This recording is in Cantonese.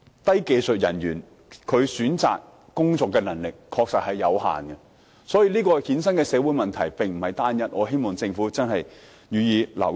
低技術人員選擇工作的能力確實有限，所以，這個制度所衍生的社會問題並非單一，我希望政府留意。